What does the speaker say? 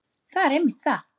Það er einmitt það!